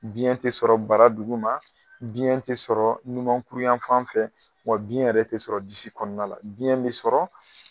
Biyɛn tɛ sɔrɔ bara duguma, biyɛn tɛ sɔrɔ ɲumankuru yan fan fɛ , wa biyɛn yɛrɛ tɛ sɔrɔ disi kɔnɔna la, biyɛn bɛ sɔrɔ